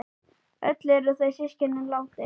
Öll eru þau systkin látin.